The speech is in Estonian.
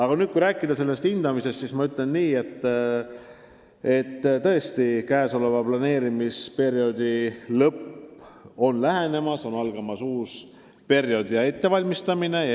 Kui nüüd rääkida sellest hindamisest, siis kordan: tõesti, käesoleva planeerimisperioodi lõpp läheneb, on algamas uus periood, mida juba ette valmistatakse.